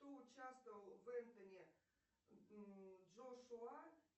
кто участвовал в энтони джошуа